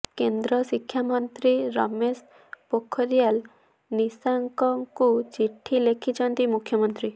କେନ୍ଦ୍ର ଶିକ୍ଷା ମନ୍ତ୍ରୀ ରମେଶ ପୋଖରିଆଲ ନିଶାଙ୍କଙ୍କୁ ଚିଠି ଲେଥିଛନ୍ତି ମୁଖ୍ୟମନ୍ତ୍ରୀ